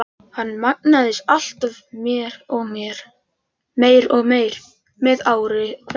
Hann magnaðist alltaf meir og meir með ári hverju.